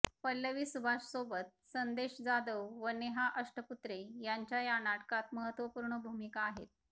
पल्लवी सुभाष सोबत संदेश जाधव व नेहा अष्टपुत्रे यांच्या या नाटकात महत्त्वपूर्ण भूमिका आहेत